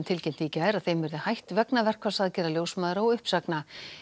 tilkynnti í gær að þeim verði hætt vegna verkfallsaðgerða ljósmæðra og uppsagna